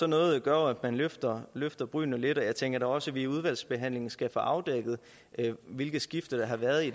noget gør at man løfter løfter brynene lidt og jeg tænker da også at vi i udvalgsbehandlingen skal få afdækket hvilke skifter der har været i